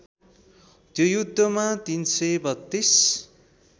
त्यो युद्धमा ३३२